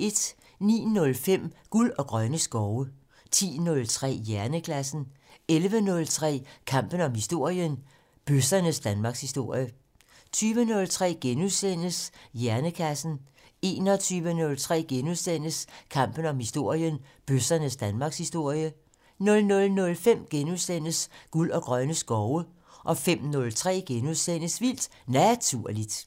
09:05: Guld og grønne skove 10:03: Hjernekassen 11:03: Kampen om historien: Bøssernes danmarkshistorie 20:03: Hjernekassen * 21:03: Kampen om historien: Bøssernes danmarkshistorie * 00:05: Guld og grønne skove * 05:03: Vildt Naturligt *